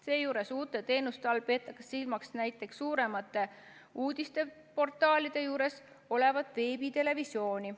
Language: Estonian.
Seejuures uute teenuste all peetakse silmas näiteks suuremate uudisteportaalide juures olevat veebitelevisiooni.